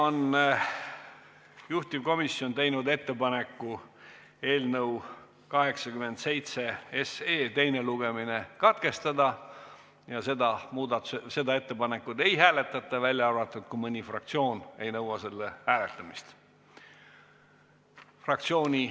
Juhtivkomisjon on teinud ettepaneku eelnõu 87 teine lugemine katkestada ja seda ettepanekut ei hääletata, välja arvatud juhul, kui mõni fraktsioon ei nõua selle hääletamist.